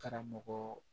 Karamɔgɔ